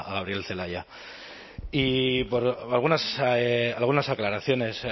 a gabriel celaya y algunas aclaraciones